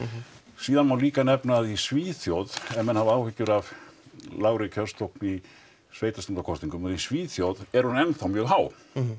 síðan má líka nefna að í Svíþjóð ef menn hafa áhyggjur af lágri kjörsókn í sveitarstjórnarkosningum að í Svíþjóð er hún enn þá mjög há